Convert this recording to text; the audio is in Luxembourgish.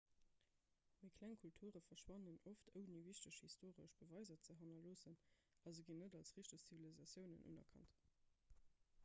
méi kleng kulture verschwannen oft ouni wichteg historesch beweiser ze hannerloossen a se ginn net als richteg zivilisatiounen unerkannt